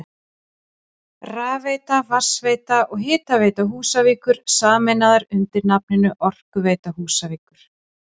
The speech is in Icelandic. Rafveita, Vatnsveita og Hitaveita Húsavíkur sameinaðar undir nafninu Orkuveita Húsavíkur.